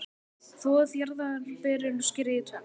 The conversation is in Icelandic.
Þvoið jarðarberin og skerið í tvennt.